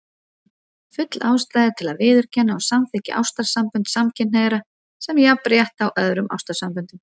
Full ástæða er til að viðurkenna og samþykkja ástarsambönd samkynhneigðra sem jafnrétthá öðrum ástarsamböndum.